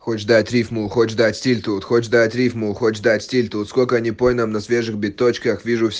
хочешь дать рифму хочешь дать стиль тут хочешь дать рифму хочешь дать стиль тут сколько не пой нам на свежих биточках вижу вс